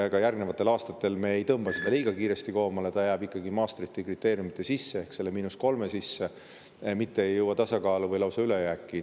Ka järgnevatel aastatel ei tõmba me seda liiga kiiresti koomale, eelarve jääb ikkagi Maastrichti kriteeriumite sisse ehk selle –3% sisse, mitte ei jõua tasakaalu või lausa ülejääki.